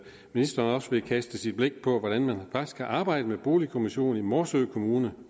ministeren også vil kaste sit blik på hvordan man faktisk har arbejdet med boligkommission i morsø kommune og